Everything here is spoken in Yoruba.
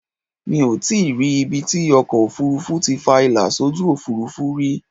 Mi ò tíì rí ibi tí ọkọ ofurufu ti fa ìlà sójú Òfurufú rí.